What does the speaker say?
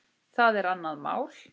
Það er annað mál.